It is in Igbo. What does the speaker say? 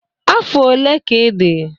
Afọ ole ka ị dị?